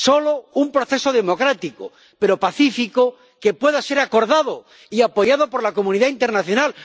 Solo un proceso democrático, pero pacífico, que pueda ser acordado y apoyado por la comunidad internacional.